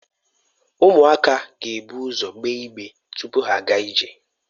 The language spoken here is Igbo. Ụmụaka ga-ebu ụzọ egbe ịgbere tupu ha aga ije.